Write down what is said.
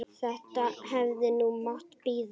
Þetta hefði nú mátt bíða.